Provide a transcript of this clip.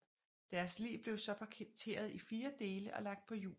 Deres lig blev så parteret i fire dele og lagt på hjul og stejle